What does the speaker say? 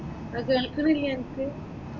ഇപ്പോൾ കേൾക്കുന്നില്ലേ അനക്?